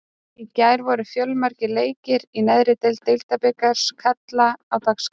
Í gær voru fjölmargir leikir í neðri deild Deildabikars karla á dagskránni.